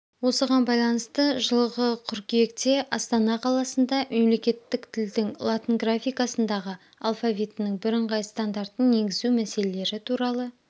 осыған байланысты жылығы қыркүйекте астана қаласында мемлекеттің тілдің латын графикасындағы алфавитінің бірыңғай стандартын енгізу мәселелері туралы